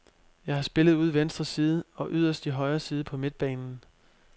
Jeg har spillet ude i venstre side og yderst i højre side på midtbanen.